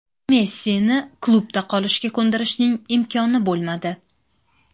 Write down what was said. Messini klubda qolishga ko‘ndirishning imkoni bo‘lmadi.